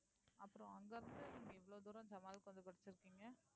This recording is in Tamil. அப்பறம் அங்க இருந்து நீங்க இவ்ளோ தூரம் ஜமல்கு வந்து படிச்சிருக்கீங்க